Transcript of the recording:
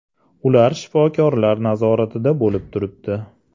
Ular shifokorlar nazoratida bo‘lib turibdi.